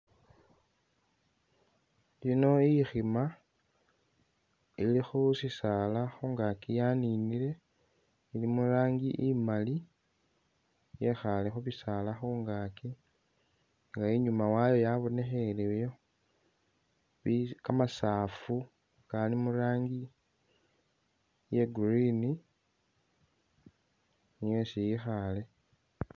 Yino ikhiima ili khu sisaala khungaaki yaninile, ilimo i'rangi imali yekhaale khu bisaala khungaaki nga inyuma wayo yabonekheleyo kamasafu kali mu rangi iya Green niyo esi yekhaale.